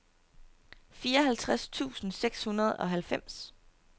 fireoghalvtreds tusind seks hundrede og halvfems